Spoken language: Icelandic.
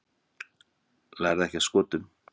Lærðu ekki af Skotum